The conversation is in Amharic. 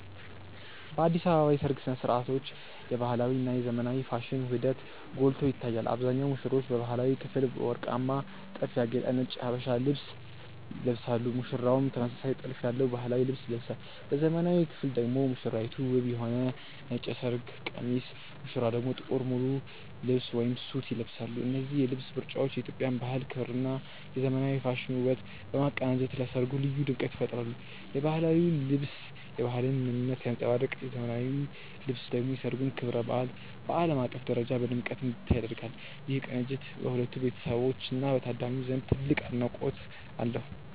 በአዲስ አበባ የሰርግ ሥነ ሥርዓቶች የባህላዊ እና የዘመናዊ ፋሽን ውህደት ጎልቶ ይታያል። አብዛኞቹ ሙሽሮች በባህላዊው ክፍል በወርቃማ ጥልፍ ያጌጠ ነጭ የሀበሻ ልብስ ይለብሳሉ ሙሽራውም ተመሳሳይ ጥልፍ ያለው ባህላዊ ልብስ ይለብሳል። በዘመናዊው ክፍል ደግሞ ሙሽራይቱ ውብ የሆነ ነጭ የሰርግ ቀሚስ ሙሽራው ደግሞ ጥቁር ሙሉ ልብስ (ሱት) ይለብሳሉ። እነዚህ የልብስ ምርጫዎች የኢትዮጵያን ባህል ክብርና የዘመናዊ ፋሽን ውበትን በማቀናጀት ለሠርጉ ልዩ ድምቀት ይፈጥራሉ። የባህላዊው ልብስ የባህልን ምንነት ሲያንጸባርቅ ዘመናዊው ልብስ ደግሞ የሠርጉን ክብረ በዓል በዓለም አቀፍ ደረጃ በድምቀት እንዲታይ ያደርጋል። ይህ ቅንጅት በሁለቱ ቤተሰቦችና በታዳሚው ዘንድ ትልቅ አድናቆት አለው።